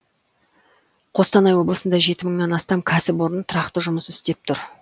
қостанай облысында жеті мыңнан астам кәсіпорын тұрақты жұмыс істеп тұр